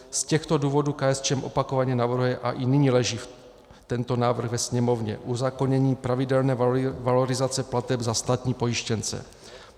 Z těchto důvodů KSČM opakovaně navrhuje, a i nyní leží tento návrh ve Sněmovně, uzákonění pravidelné valorizace plateb za státní pojištěnce.